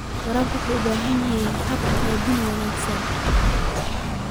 Waraabka waxa uu u baahan yahay hab-qaybin wanaagsan.